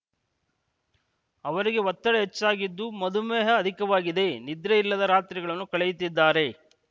ಅವರಿಗೆ ಒತ್ತಡ ಹೆಚ್ಚಾಗಿದ್ದು ಮಧುಮೇಹ ಅಧಿಕವಾಗಿದೆ ನಿದ್ರೆಯಿಲ್ಲದ ರಾತ್ರಿಗಳನ್ನು ಕಳೆಯುತ್ತಿದ್ದಾರೆ